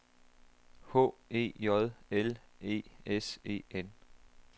H E J L E S E N